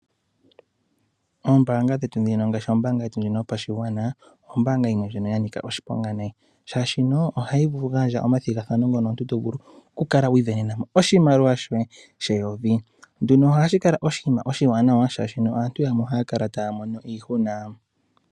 Ombaanga dhetu dhino ngaashi ombaanga yopashigwana ombaanga yimwe ya nika oshiponga nayi, shaashi ohayi vulu oku ninga omathigathano mono omuntu to vulu okwiivenena mo oshimaliwa shoye sheyovi. Nduno ohashi kala oshinima oshiwanawa shaashi aantu yamwe ohaya kala taya mono iihuna.